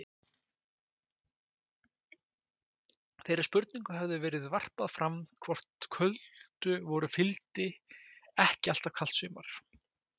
Þeirri spurning hefur verið varpað fram hvort köldu vori fylgdi ekki alltaf kalt sumar.